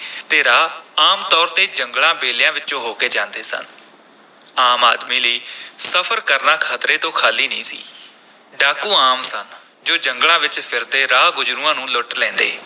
ਤੇ ਰਾਹ ਆਮ ਤੌਰ ’ਤੇ ਜੰਗਲਾਂ, ਬੇਲਿਆਂ ਵਿਚੋਂ ਹੋ ਕੇ ਜਾਂਦੇ ਸਨ, ਆਮ ਆਦਮੀ ਲਈ ਸਫ਼ਰ ਕਰਨਾ ਖਤਰੇ ਤੋਂ ਖਾਲੀ ਨਹੀਂ ਸੀ, ਡਾਕੂ ਆਮ ਸਨ ਜੋ ਜੰਗਲਾਂ ’ਚ ਫਿਰਦੇ ਰਾਹ ਗੁਜ਼ਰੂਆਂ ਨੂੰ ਲੁੱਟ ਲੈਂਦੇ,